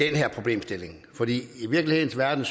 her problemstilling for i virkelighedens verden